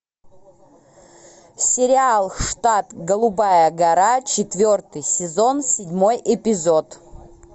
сериал штат голубая гора четвертый сезон седьмой эпизод